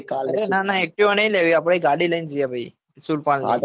અરે ના ના અઆપડે activa નહિ લેવી આપડે આહી ગાડી લઇ ને જઈએ ભાઈ સુરપાલ ની